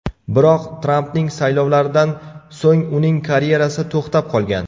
Biroq, Trampning saylovlaridan so‘ng uning karyerasi to‘xtab qolgan.